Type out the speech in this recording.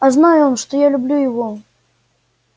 а знай он что я люблю его